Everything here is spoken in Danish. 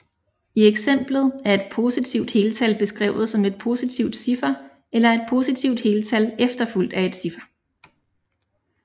I eksemplet er et positivt heltal beskrevet som et positivt ciffer eller et positivt heltal efterfulgt af et ciffer